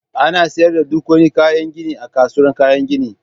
Ana siyar da duk wani kayan gini a kasuwar kayan gini